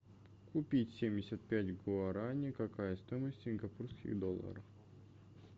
купить семьдесят пять гуарани какая стоимость в сингапурских долларах